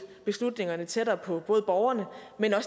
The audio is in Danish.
beslutningerne tættere på både borgerne og